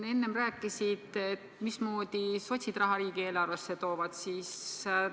Sa rääkisid siin enne, mismoodi sotsid raha riigieelarvesse toovad.